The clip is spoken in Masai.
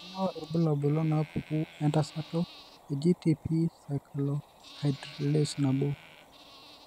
Kainyio irbulabul onaapuku entasato eGTP cyclohydrolase nabo?